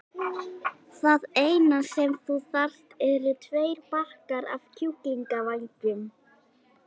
Það eina sem þú þarft eru tveir bakkar af kjúklingavængjum.